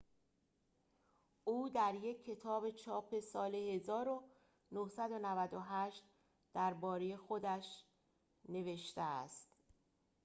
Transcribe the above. او در یک کتاب چاپ سال ۱۹۹۸ درباره خودش نوشته است